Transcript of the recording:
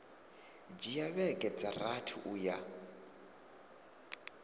dzhia vhege dza rathi uya